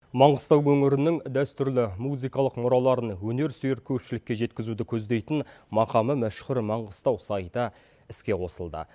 маңғыстау өңірінің дәстүрлі музыкалық мұраларын өнер сүйер көпшілікке жеткізуді көздейтін махамы мәшһүр маңғыстау сайты іске қосылды